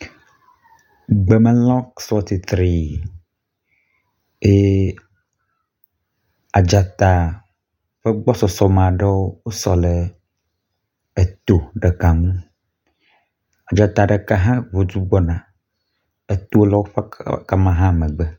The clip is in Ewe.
Gbemelãwo sɔ titrii eye edzata ƒe gbɔsɔsɔ me aɖewo wosɔ le eto ɖeka ŋu. Dzata ɖeka hã ŋu du gbɔna. Eto le woƒe ga ma hã ƒe megbe.